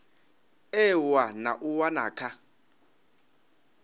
ewa na u wana kha